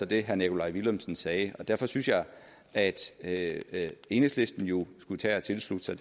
det herre nikolaj villumsen sagde og derfor synes jeg at at enhedslisten jo skulle tage og tilslutte sig